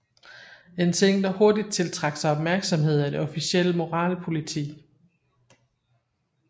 En ting der hurtigt tiltrak sig opmærksom af det officielle moralpoliti